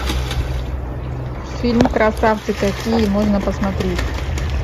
фильм красавцы какие можно посмотреть